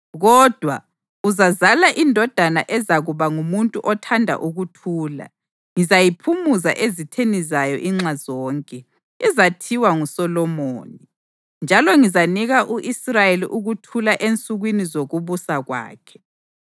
Kodwa, uzazala indodana ezakuba ngumuntu othanda ukuthula; ngizayiphumuza ezitheni zayo inxa zonke. Izathiwa nguSolomoni, njalo ngizanika u-Israyeli ukuthula ensukwini zokubusa kwakhe.